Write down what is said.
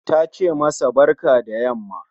Tace masa barka da yamma